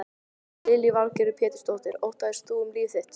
Lillý Valgerður Pétursdóttir: Óttaðist þú um líf þitt?